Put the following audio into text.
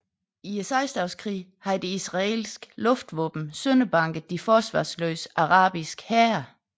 I Seksdageskrigen havde det israelske luftvåben sønderbanket de forsvarsløse arabiske hære